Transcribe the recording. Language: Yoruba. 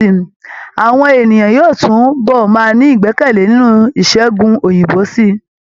Âwọn èèyàn yóò tún bọ̀ máa ní ìgbẹkẹ̀lé nínú ìṣègùn òyìnbó sí i